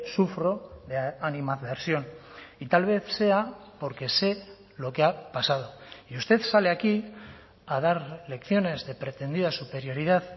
sufro de animadversión y tal vez sea porque sé lo que ha pasado y usted sale aquí a dar lecciones de pretendida superioridad